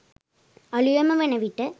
අලුයම වන විට